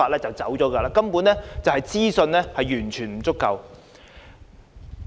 這反映交通資訊根本完全不足夠。